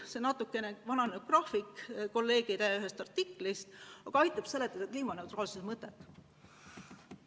See on natukene vananenud graafik, pärit ühest kolleegide artiklist, aga aitab seletada kliimaneutraalsuse mõtet.